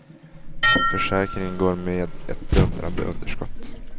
Försäkringen går med ett dundrande underskott.